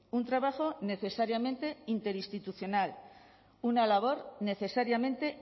un trabajo necesariamente interinstitucional una labor necesariamente